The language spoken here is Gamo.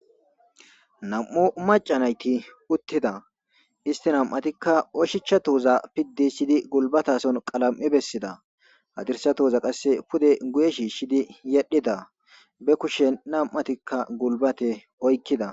Nam7u macanayti uttida isti nam7atikka oshicha touza piddisidi gulbatason qalam7i bessida hadirsa toza qasse pude guye shiishshidi yedhida be kushen nam7atikka gulbate oykkida